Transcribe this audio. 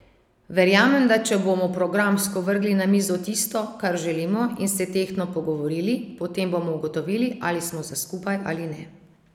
Verjamem, da če bomo programsko vrgli na mizo tisto, kar želimo, in se tehtno pogovorili, potem bomo ugotovili, ali smo za skupaj ali ne.